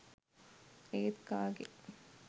ඒත් කාගේ